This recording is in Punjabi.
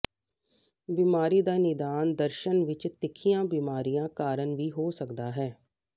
ਬੀਮਾਰੀ ਦਾ ਨਿਦਾਨ ਦਰਸ਼ਣ ਵਿਚ ਤਿੱਖੀਆਂ ਬਿਮਾਰੀਆਂ ਕਾਰਨ ਵੀ ਹੋ ਸਕਦਾ ਹੈ